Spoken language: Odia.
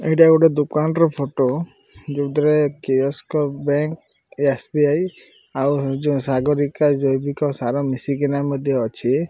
ଏଇଟା ଗୋଟେ ଦୋକାନ୍ ର ଫଟୋ ଯୋଉଥିରେ ବ୍ୟାଙ୍କ୍ ଏସ୍_ବି_ଆଇ ଆଉ ଯୋଉ ସାଗରିକା ଜୈବିକ ସାର ମିଶିକିନା ମଧ୍ୟ ଅଛି।